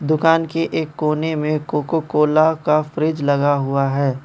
दुकान के एक कोने में कोकोकोला का फ्रिज लगा हुआ है।